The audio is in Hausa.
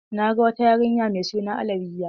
Na ga wata yarinya mai suna Alawiyya.